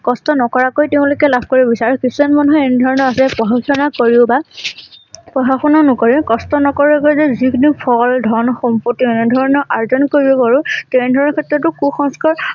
কষ্ট নকৰাকৈ তেওঁলোকে লাভ কৰিব বিচাৰে আৰু কিছুমান মানুহে এনেধৰণৰ যে কৰিব বা পঢ়া শুনা নকৰে কষ্ট নকৰাকৈ যিকোনো ফল ধন সম্পত্তি এনে ধৰণৰ অৰ্জন কৰিব পাৰোঁ তেনে ধৰণৰ ক্ষেত্ৰতো কুসংস্কাৰ